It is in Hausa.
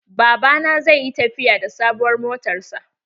Baba na zai yi tafiya da sabuwar motan sa